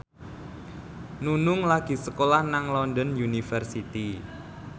Nunung lagi sekolah nang London University